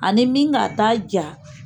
Ani min ka ta ja